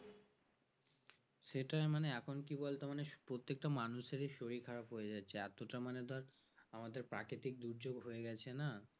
সেটাই মানে এখন কি বলতো মানে প্রত্যেকটা মানুষেরই শরীর খারাপ হয়ে যাচ্ছে এতটা মানে ধর আমাদের প্রাকৃতিক দুর্যোগ হয়ে গেছে না